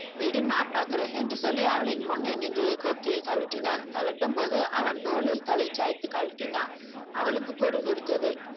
விடு நான் பார்க்கறேன் என்று சொல்லி அவளின் முன்னே நின்று கொக்கியை கழற்றினான். கழட்டும் போது அவன் தோளில் தலை சாய்த்து கழட்டினான். அவளுக்கு குறுகுறுத்தது.